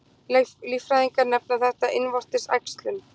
Líffræðingar nefna þetta innvortis æxlun.